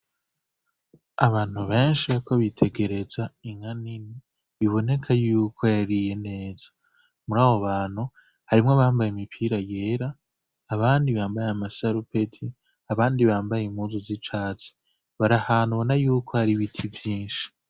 Abantu benshi bariko bitegereza inka nini biboneka yuko yariye neza muri abo bantu harimwo abambaye imipira yera abandi bambaye amasarupeti abandi bambaye impuzu z'icatsi bari ahantu ubona yuko har'ibiti vyinshi.